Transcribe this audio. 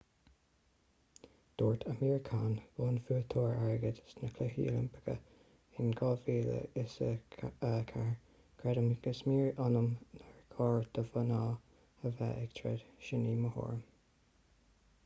dúirt amir khan bonnbhuaiteoir airgid sna cluichí oilimpeacha in 2004 creidim go smior ionam nár chóir do mhná a bheith ag troid sin í mo thuairim